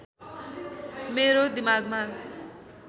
मेरो दिमागमा